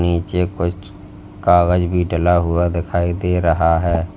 नीचे कुछ कागज भी डला हुआ दिखाई दे रहा है।